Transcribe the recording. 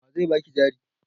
Wa zai ba ki jari?